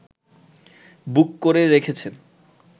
বুক করে রেখেছেন